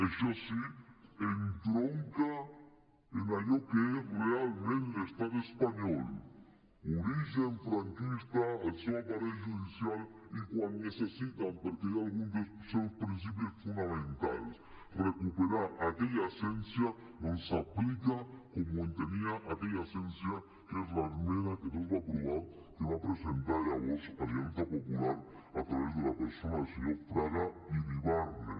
això sí entronca amb allò que és realment l’estat espanyol origen franquista al seu aparell judicial i quan necessiten perquè hi ha algun dels seus principis fonamentals recuperar aquella essència doncs s’aplica com ho entenia aquella essència de l’esmena que no es va aprovar que va presentar llavors alianza popular a través de la persona del senyor fraga iribarne